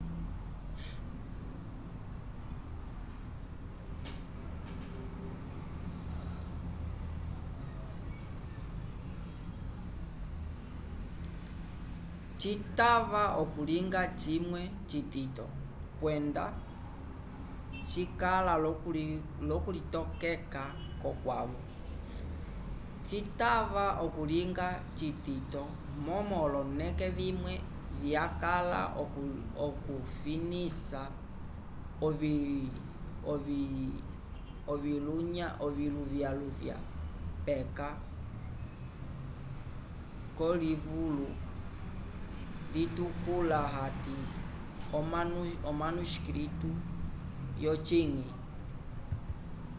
citava okulinga cimwe citito kwende cikala lo kulitokeka ko kwavo citava okulinga citito momo oloneke vimwe vyakala okufinisa oviluvyaluvya peka ko livulo litukula ati omanuscito yo cinyi